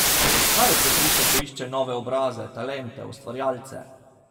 Kaj jo prepriča, ko išče nove obraze, talente, ustvarjalce?